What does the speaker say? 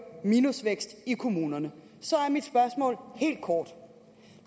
minusvækst i kommunerne så er mit spørgsmål helt kort